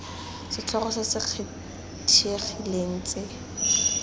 setlhogo se se kgethegileng tse